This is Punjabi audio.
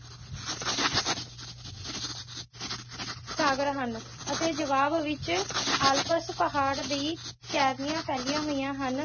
ਸਾਗਰ ਹਨ ਅਤੇ ਜਵਾਬ ਵਿਚ ਆਲਪਸ ਪਹਾੜ ਦੀ ਸ਼੍ਰੇਣੀਆਂ ਫੈਲੀਆਂ ਹੋਈਆਂ ਹਨ